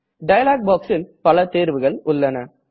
dialogue boxல் பல தேர்வுகள் உள்ளன